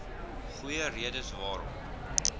goeie redes waarom